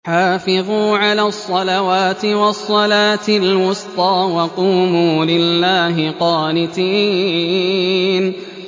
حَافِظُوا عَلَى الصَّلَوَاتِ وَالصَّلَاةِ الْوُسْطَىٰ وَقُومُوا لِلَّهِ قَانِتِينَ